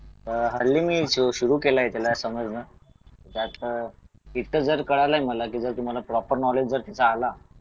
अह हल्ली मी तो सुरू केलाय त्याला समज ना ते तर कळालय मला कि जर तुम्हाला प्रॉपर नॉलेज जर तिथे आला